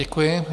Děkuji.